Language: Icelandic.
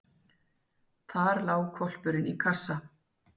Þar lá hvolpurinn í kassa.